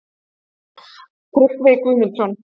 Tryggvi Guðmundsson.